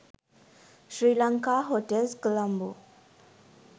sri lanka hotels colombo